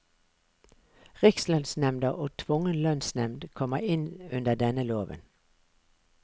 Rikslønnsnemnda og tvungen lønnsnevnd kommer inn under denne loven.